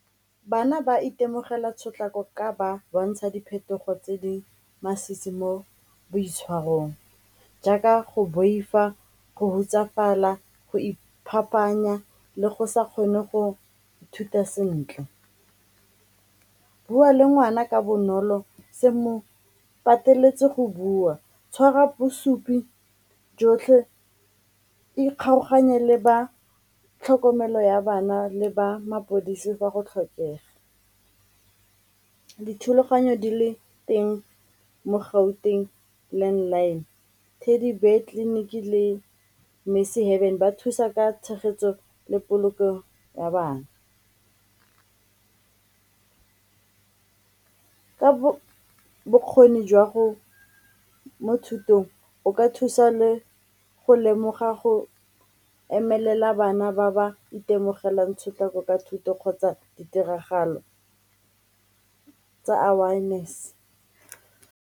Bana ba itemogela tshotlakako ka ba bontsha diphetogo tse di masisi mo boitshwarong jaaka go boifa, go hutsafalela, go iphapanya le go sa kgone go ithuta sentle. Bua le ngwana ka bonolo se mo pateletse go bua, tshwara bosupi jotlhe, ikgaoganye le ba tlhokomelo ya bana le ba mapodisi fa go tlhokega. Dithulaganyo di le teng mo Gauteng landline, Teddy Bear tleliniki le ba thusa ka tshegetso le polokego ya bana. Ka bokgoni mo thutong o ka thusa le go lemoga go emelela bana ba ba itemogelang tshotlakako ka thuto kgotsa ditiragalo tsa awareness.